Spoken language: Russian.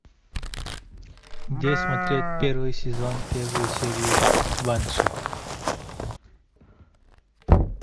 где смотреть первый сезон первую серию банши